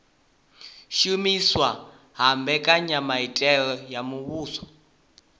shumiswa ha mbekanyamitele ya muvhuso